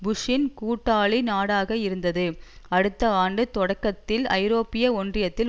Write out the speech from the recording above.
புஷ்ஷின் கூட்டாளி நாடாக இருந்தது அடுத்த ஆண்டு தொடக்கத்தில் ஐரோப்பிய ஒன்றியத்தில்